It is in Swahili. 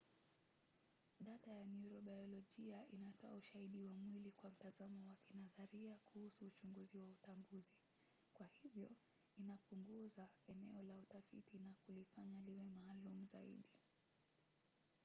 data ya neurobayolojia inatoa ushahidi wa mwili kwa mtazamo wa kinadharia kuhusu uchunguzi wa utambuzi. kwa hivyo inapunguza eneo la utafiti na kulifanya liwe maalum zaidi